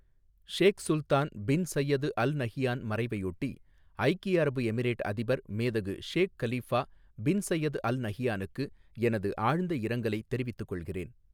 ஷேக் Sultan bin Zayed Al Nahyan மறைவையொட்டி, ஐக்கிய அரபு எமிரேட் அதிபர் மேதகு Sheikh Khalifa bin Zayed Al நஹியானுக்கு எனது ஆழ்ந்த இரங்கலை தெரிவித்துக் கொள்கிறேன்.